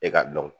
E ka dɔn